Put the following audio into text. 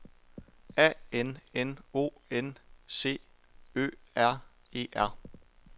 A N N O N C Ø R E R